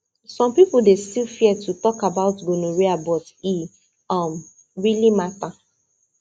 some people still dey fear to talk about gonorrhea but e um really matter